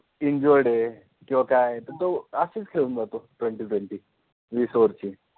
Twenty twenty वीस over ची